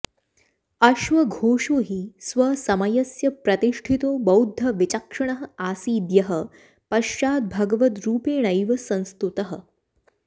अश्वघोषो हि स्वसमयस्य प्रतिष्ठितो बौद्धविचक्षणः आसीद्यः पश्चाद्भगवद्रूपेणैव संस्तुतः